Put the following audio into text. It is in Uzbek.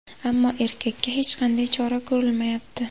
Ammo erkakka hech qanday chora ko‘rilmayapti.